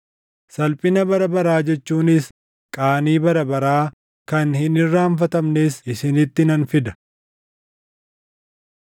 Salphina bara baraa jechuunis qaanii bara baraa kan hin irraanfatamnes isinitti nan fida.”